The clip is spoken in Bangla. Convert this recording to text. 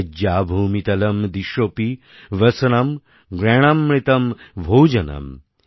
শয্যা ভূমিতলম্ দিশোপি বসনাম্ জ্ঞানামৃতম্ ভোজনম্